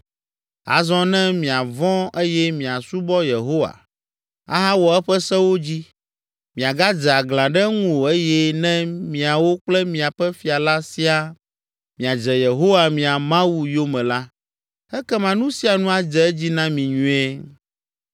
Azɔ, ne miavɔ̃ eye miasubɔ Yehowa, ahawɔ eƒe sewo dzi, miagadze aglã ɖe eŋu o eye ne miawo kple miaƒe fia la siaa miadze Yehowa, mia Mawu, yome la, ekema nu sia nu adze edzi na mi nyuie.